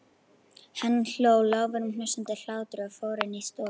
Hann hló, lágværum, hnussandi hlátri og fór inn í stofu.